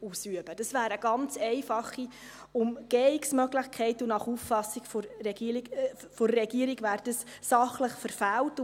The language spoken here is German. Dies wäre eine ganz einfache Umgehungmöglichkeit, und nach Auffassung der Regierung wäre dies sachlich verfehlt.